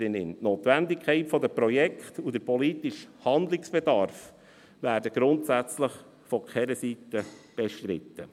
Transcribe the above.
Die Notwendigkeit der Projekte und der politische Handlungsbedarf werden grundsätzlich von keiner Seite bestritten.